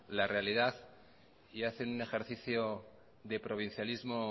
la realidad y hacen un ejercicio de provincialismo